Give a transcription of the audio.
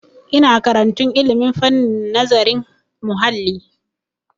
Ina karantun ilmin fannin nazarin muhalli.